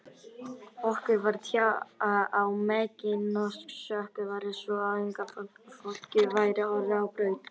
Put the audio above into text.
Okkur var tjáð að meginorsökin væri sú, að unga fólkið væri horfið á braut.